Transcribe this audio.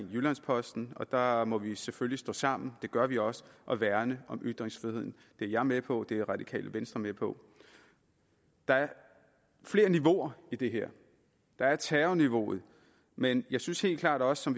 jyllands posten og der må vi selvfølgelig stå sammen det gør vi også og værne om ytringsfriheden det er jeg med på og det er radikale venstre med på der er flere niveauer i det her der er terrorniveauet men jeg synes helt klart også som